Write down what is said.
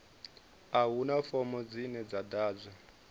a huna fomo dzine dza ḓadzwa